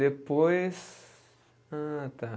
Depois. Ah, tá.